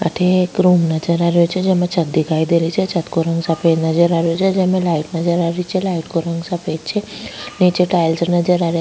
अठे एक रूम नजर आ रियो छे जेमे छत दिखाई दे रही छे छत को रंग सफ़ेद नजर आ रियो छे जेमे लाइट नजर आ रही छे लाइट को रंग सफ़ेद छे नीचे टाइल्स नजर आ रिया।